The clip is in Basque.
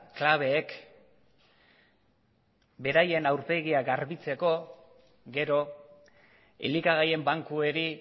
klabeek beraien aurpegia garbitzeko gero elikagaien bankuei